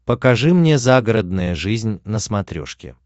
покажи мне загородная жизнь на смотрешке